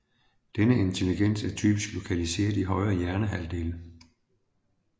Denne intelligens er typisk lokaliseret i højre hjernehalvdel